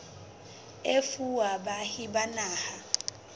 e fuwa baahi ba naha